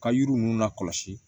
Ka yiri ninnu lakɔsi